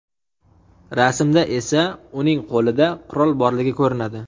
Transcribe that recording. Rasmda esa uning qo‘lida qurol borligi ko‘rinadi.